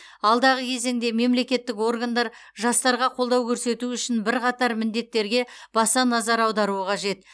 алдағы кезеңде мемлекеттік органдар жастарға қолдау көрсету үшін бірқатар міндеттерге баса назар аударуы қажет